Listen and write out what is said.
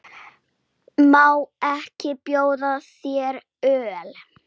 Má ekki bjóða þér öl?